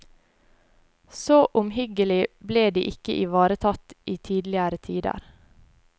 Så omhyggelig ble de ikke ivaretatt i tidligere tider.